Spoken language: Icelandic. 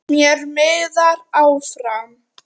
Mér miðar áfram.